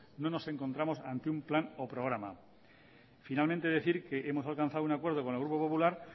no nos encontramos ante un plan o programa finalmente decir que hemos alcanzado un acuerdo con el grupo popular